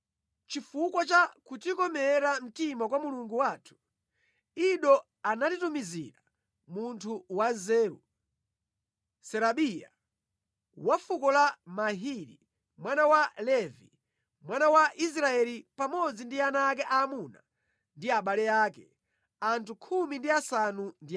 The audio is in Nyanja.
Chifukwa cha kutikomera mtima kwa Mulungu wathu, Ido anatitumizira munthu wanzeru, Serabiya, wa fuko la Mahili, mwana wa Levi, mwana wa Israeli, pamodzi ndi ana ake aamuna ndi abale ake, anthu 18.